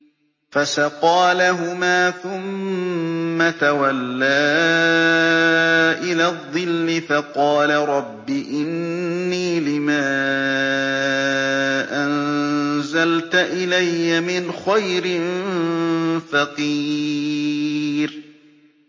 فَسَقَىٰ لَهُمَا ثُمَّ تَوَلَّىٰ إِلَى الظِّلِّ فَقَالَ رَبِّ إِنِّي لِمَا أَنزَلْتَ إِلَيَّ مِنْ خَيْرٍ فَقِيرٌ